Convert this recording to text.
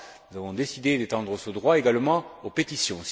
Nous avons décidé d'étendre ce droit également aux pétitions.